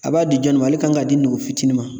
A b'a di jɔni ma? Ale kan ka di nogo fitiinin ma.